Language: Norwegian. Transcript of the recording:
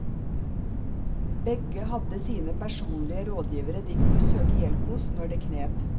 Begge hadde sine personlige rådgivere de kunne søke hjelp hos når det knep.